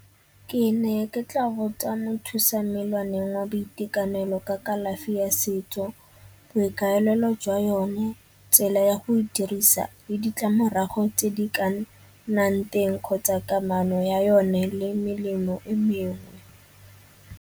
Ke ne ke tla botsa mothusa wa boitekanelo ka kalafi ya setso, boikaelelo jwa yone, tsela ya go e dirisa le ditlamorago tse di ka nnang teng kgotsa kamano ya yone le melemo e mengwe.